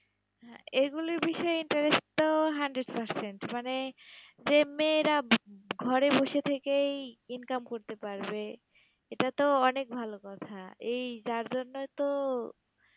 হ্যাঁ, এইগুলির বিষয়ে interest তো hundred percent, মানে যে মেয়েরা ঘরে বসে থেকেই income করতে পারবে, এটা তো অনেক ভাল কথা, এই যার জন্যই তো